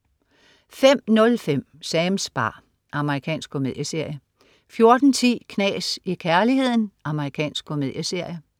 05.05 Sams bar. Amerikansk komedieserie 14.10 Knas i kærligheden. Amerikansk komedieserie